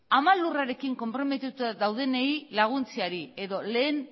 ama lurrarekin konprometituta daudenei laguntzeari edo lehen